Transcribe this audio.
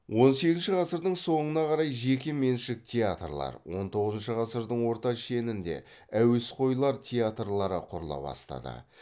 он сегізінші ғасырдың соңына қарай жеке меншік театрлар он тоғызыншы ғасырдың орта шенінде әуесқойлар театрлары құрыла бастады